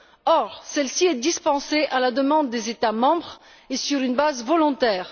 Or, celle ci est dispensée à la demande des États membres et sur une base volontaire.